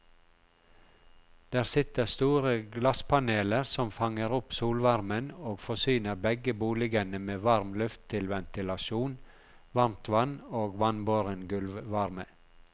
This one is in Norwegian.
Der sitter store glasspaneler som fanger opp solvarmen og forsyner begge boligene med varm luft til ventilasjon, varmtvann og vannbåren gulvvarme.